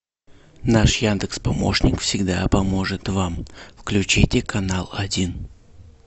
наш яндекс помощник всегда поможет вам включите канал один